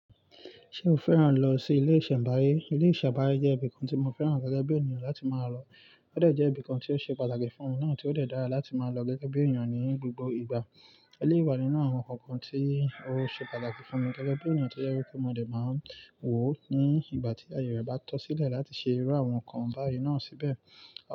Ṣé o fẹ́ràn lọ sí ilé ìṣẹ̀mbáyé? Ilé ìṣẹ̀mbáyé jẹ́ ibi kan tí mo fẹ́ràn gẹ́gẹ́ bí ènìyàn láti máa lọ. Ó dẹ̀ jẹ́ ibi kan tí ó ṣe pàtàkì fún ọ̀nà tí ó dẹ̀ dára láti máa lọ gẹ́gẹ́ bí ènìyàn ní gbogbo ìgbà. Eléyii wà nínú àwọn ǹkan kan tí ó ṣe pàtàkì fún mi gẹ́gẹ́ bí ènìyàn tí ó jẹ́ wípé mo dẹ̀ máa ń wò ó ní ìgbà tí ayoyọ̀ bá tọ́ sílẹ̀ láti ṣe irú àwọn ǹkan báyìí náà síbẹ̀.